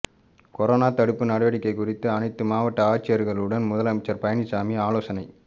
corona தடுப்பு நடவடிக்கை குறித்து அனைத்து மாவட்ட ஆட்சியர்களுடன் முதலமைச்சர் பழனிசாமி ஆலோசனை